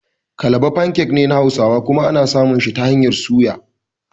Kalaba "pancake" ne na hausawa kuma ana samun shi da hanyar soya.